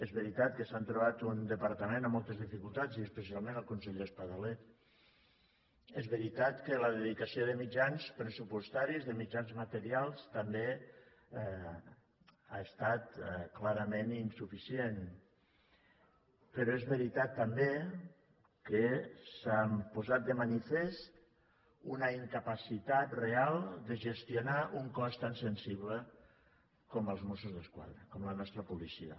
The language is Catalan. és veritat que s’han trobat un departament amb moltes dificultats i especialment el conseller espadaler és veritat que la dedicació de mitjans pressupostaris de mitjans materials també ha estat clarament insuficient però és veritat també que s’ha posat de manifest una incapacitat real de gestionar un cos tan sensible com els mossos d’esquadra com la nostra policia